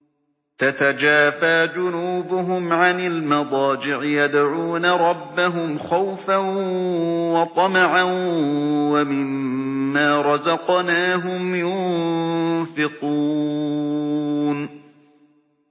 تَتَجَافَىٰ جُنُوبُهُمْ عَنِ الْمَضَاجِعِ يَدْعُونَ رَبَّهُمْ خَوْفًا وَطَمَعًا وَمِمَّا رَزَقْنَاهُمْ يُنفِقُونَ